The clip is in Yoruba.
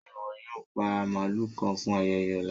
Ṣẹ́ iwọ yóò pa màlú kàn fún ayẹyẹ ọlá?